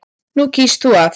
Nú kýst þú að.